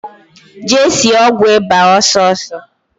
Jee sie ọgwụ ịba ọsọọsọ!